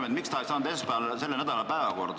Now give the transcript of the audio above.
Miks see punkt ei saanud esmaspäeval selle nädala päevakorda?